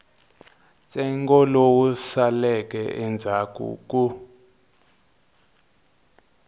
ntsengo lowu saleleke endzhaku ku